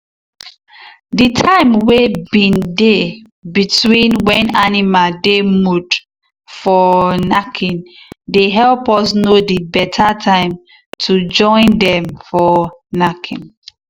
the time wey been dey between when animal dey mood for knacking dey help us know the betta time to join dem for knacking.